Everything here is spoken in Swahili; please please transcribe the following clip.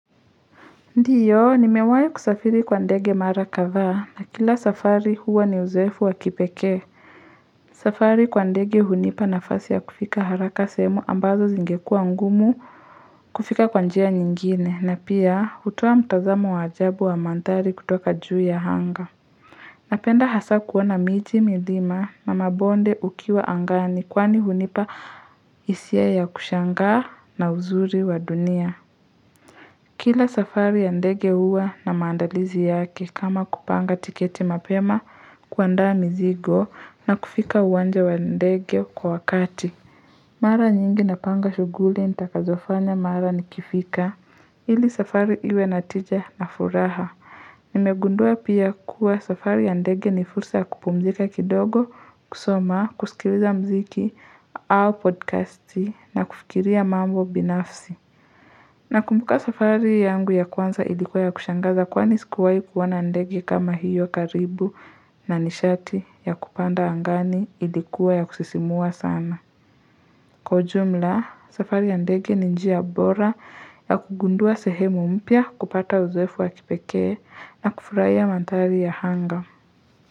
Ndiyo nimewahi kusafiri kwa ndege mara kadhaa na kila safari huwa ni uzoefu wa kipekee safari kwa ndege hunipa nafasi ya kufika haraka semu ambazo zingekuwa ngumu kufika kwa njia nyingine na pia hutoa mtazamo wa ajabu wa mandhari kutoka juu ya anga napenda hasa kuona miti, milima na mabonde ukiwa angani kwani hunipa hisia ya kushangaa na uzuri wa dunia Kila safari ya ndege huwa na maandalizi yake kama kupanga tiketi mapema kuandaa mizigo na kufika uwanja wa ndege kwa wakati. Mara nyingi napanga shughuli nitakazofanya mara nikifika ili safari iwe na tija na furaha. Nimegundua pia kuwa safari ya ndege ni fulsa ya kupumzika kidogo kusoma kusikiliza muziki au podcast na kufikiria mambo binafsi. Nakumbuka safari yangu ya kwanza ilikuwa ya kushangaza kwani sikuwahi kuona ndege kama hiyo karibu na nishati ya kupanda angani ilikuwa ya kusisimua sana. Kwa ujumla, safari ndege ni njia bora ya kugundua sehemu mpya kupata uzoefu wa kipekee na kufurahia mandhari ya anga.